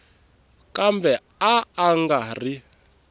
kambe a a nga ri